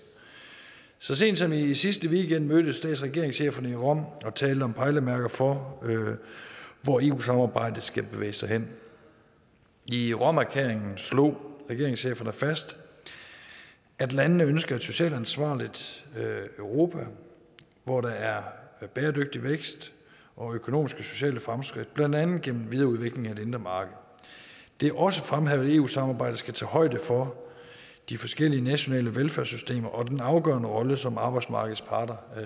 så sent som i sidste weekend mødtes stats og regeringscheferne i rom og talte om pejlemærker for hvor eu samarbejdet skal bevæge sig hen i romerklæringen slog regeringscheferne fast at landene ønsker et socialt ansvarligt europa hvor der er bæredygtig vækst og økonomiske og sociale fremskridt blandt andet gennem en videreudvikling af det indre marked det er også fremhævet at eu samarbejdet skal tage højde for de forskellige nationale velfærdssystemer og den afgørende rolle som arbejdsmarkedets parter